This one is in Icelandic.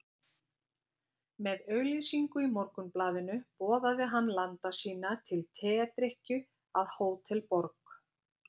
Með auglýsingu í Morgunblaðinu boðaði hann landa sína til tedrykkju að Hótel Borg.